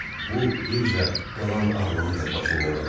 Bu birja qalan ağlını da başından alıb.